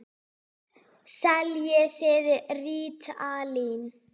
Seljið þið rítalín?